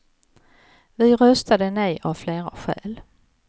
Vi röstade nej av flera skäl.